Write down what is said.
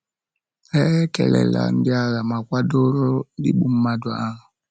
Ha ekelela ndị agha ma kwadoro igbu mmadụ ahụ.